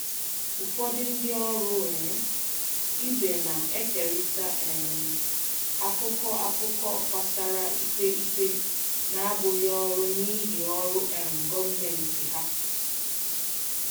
Ụfọdụ ndị ọrụ um ibe na-ekerịta um akụkọ akụkọ gbasara ikpe ikpe na-abụghị ọrụ n'ihi ọrụ um gọọmentị ha.